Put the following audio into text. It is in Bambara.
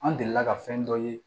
An delila ka fɛn dɔ ye